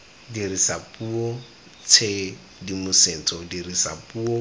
dirisa puo tshedimosetso dirisa puo